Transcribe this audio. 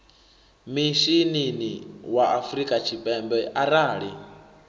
mishinini wa afrika tshipembe arali